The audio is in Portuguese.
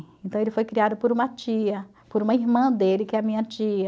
Então ele foi criado por uma tia, por uma irmã dele, que é a minha tia.